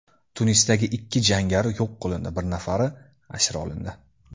Tunisda ikki jangari yo‘q qilindi, bir nafari asir olindi.